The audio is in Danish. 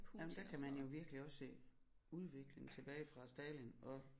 Nej men der kan man virkelig også se udvikling tilbage fra Stalin og